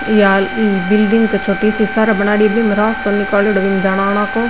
ये बिलडिंग की छोटी सी सार बनाईडि है रास्ता निकालेडो है जाना आना को।